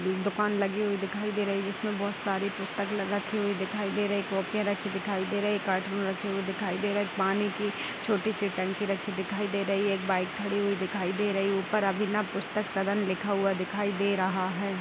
Book दुकान लगी हुई दिखाई दे रही है जिसमें बहुत सारी पुस्तक ल रखी हुई दिखाई दे रही है। कॉपियाँ रखी दिखाई दे रही है कार्टून रखे हुए दिखाई दे रहें हैं। पानी की छोटी सी टंकी रखी दिखाई दे रही है। एक बाइक खड़ी हुई दिखाई दे रही है। ऊपर अभिनव पुस्तक सदन लिखा हुआ दिखाई दे रहा है।